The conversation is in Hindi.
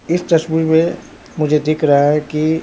इस तस्वीर में मुझे दिख रहा है कि--